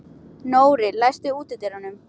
Nóri, læstu útidyrunum.